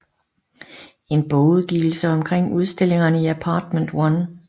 En bogudgivelse omkring udstillingerne i Apartment One